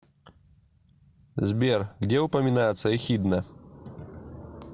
сбер где упоминается эхидна